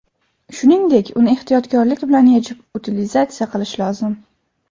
Shuningdek, uni ehtiyotkorlik bilan yechib utilizatsiya qilish lozim.